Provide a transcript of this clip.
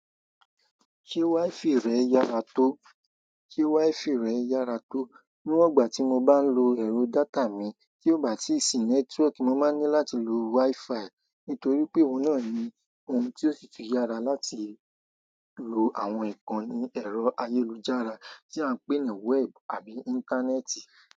Ṣé wifi rẹ yára tó? Níwon ọgbà tí mo bá ń lo ẹ̀rọ data mi, tí ó bá sì network, mo máa ní láti lo wi-fi. Nítorí pé òhun náà ni ohun tí ó sitì yára láti lo àwọn ìkànnì ẹ̀rọ ayélujára tí à ń pè ní web àbí íńtánẹ́ẹ̀tì.